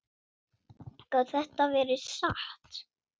Gat þetta verið satt?